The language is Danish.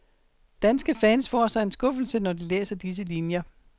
Danske fans får sig en skuffelse, når de læser disse linier.